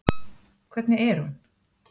Hvernig er hún?